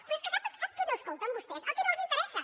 però és que sap sap què no escolten vostès el que no els interessa